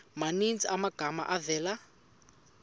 maninzi amagama avela